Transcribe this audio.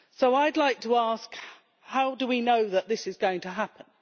I would like to ask how do we know that this is going to happen?